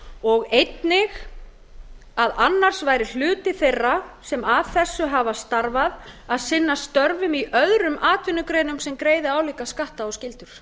og einnig að annars væri hluti þeirra sem að þessu hafa starfað að sinna störfum í öðrum atvinnugreinum sem greiðir álíka skatta og skyldur